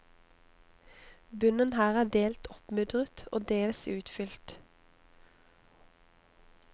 Bunnen her er delt oppmudret og dels utfylt.